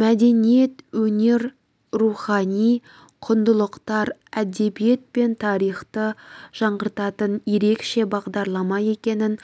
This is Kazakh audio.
мәдениет өнер рухани құндылықтар әдебиет пен тарихты жаңғыртатын ерекше бағдарлама екенін